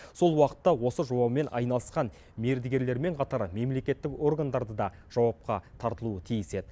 сол уақытта осы жобамен айналысқан мердігерлермен қатар мемлекеттік органдарды да жауапқа тартылуы тиіс еді